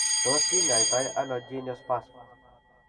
Tos kinyai to ano geniospasm ?